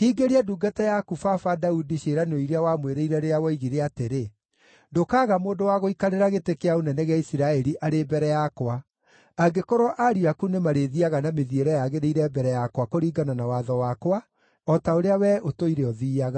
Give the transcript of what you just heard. hingĩria ndungata yaku baba, Daudi, ciĩranĩro iria wamwĩrĩire rĩrĩa woigire atĩrĩ, ‘Ndũkaaga mũndũ wa gũikarĩra gĩtĩ kĩa ũnene gĩa Isiraeli arĩ mbere yakwa, angĩkorwo ariũ aku nĩmarĩthiiaga na mĩthiĩre yagĩrĩire mbere yakwa kũringana na watho wakwa o ta ũrĩa wee ũtũire ũthiiaga.’